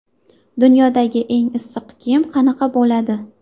Dunyodagi eng issiq kiyim qanaqa bo‘ladi?.